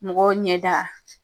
Mɔgɔw ɲɛ da